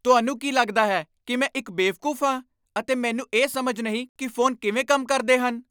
ਤੁਹਾਨੂੰ ਕੀ ਲੱਗਦਾ ਹੈ ਕਿ ਮੈਂ ਇੱਕ ਬੇਵਕੂਫ ਹਾਂ ਅਤੇ ਮੈਨੂੰ ਇਹ ਸਮਝ ਨਹੀਂ ਕਿ ਫੋਨ ਕਿਵੇਂ ਕੰਮ ਕਰਦੇ ਹਨ?